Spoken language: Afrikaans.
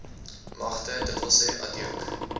magte dws adjunk